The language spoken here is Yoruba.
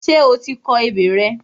Ṣé o ti kọ ebè rẹ?